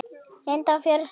Linda á fjórar systur.